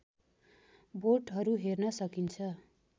बोटहरू हेर्न सकिन्छ